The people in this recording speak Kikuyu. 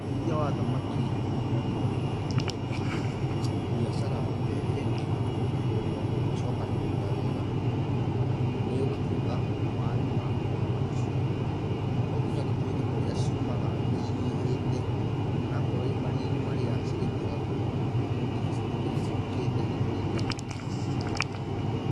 Ũrĩithia wa thamaki no ta ũrĩmi ta ũrĩa ũngĩ, biacara ta ĩrĩa ĩngĩ, hĩndĩ ĩrĩa ũgwicokanĩrĩrĩa wega nĩ ũgũtuĩka nĩ wa rĩma thamaki ciaku to nginya gũtuĩke kũrĩa ciumaga nĩ inyihĩte onakorwo maria-inĩ igĩtegagwo no nginya cituĩke nĩ ihukĩte kũringana na